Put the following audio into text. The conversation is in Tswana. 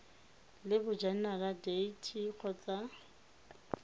le bojanala dea t kgotsa